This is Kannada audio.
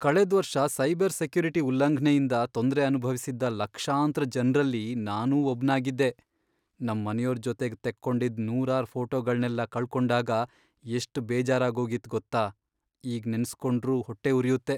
ಕಳೆದ್ವರ್ಷ ಸೈಬರ್ ಸೆಕ್ಯುರಿಟಿ ಉಲ್ಲಂಘ್ನೆಯಿಂದ ತೊಂದ್ರೆ ಅನುಭವ್ಸಿದ್ದ ಲಕ್ಷಾಂತ್ರ ಜನ್ರಲ್ಲಿ ನಾನೂ ಒಬ್ನಾಗಿದ್ದೆ, ನಮ್ ಮನೆಯೋರ್ ಜೊತೆಗ್ ತೆಕ್ಕೊಂಡಿದ್ ನೂರಾರ್ ಫೋಟೋಗಳ್ನೆಲ್ಲ ಕಳ್ಕೊಂಡಾಗ ಎಷ್ಟ್ ಬೇಜಾರಾಗೋಗಿತ್ತು ಗೊತ್ತಾ, ಈಗ್ ನೆನ್ಸ್ಕೊಂಡ್ರೂ ಹೊಟ್ಟೆ ಉರ್ಯುತ್ತೆ.